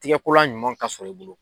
Tigɛkolan ɲuman ka sɔrɔ i bolo.